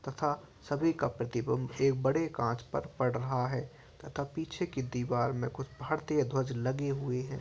तथा सभी का प्रतिबिंब एक बड़े कांच पर पड़ रहा है तथा पीछे के दीवार में कुछ भारतीय ध्वज लगे हुए हैं।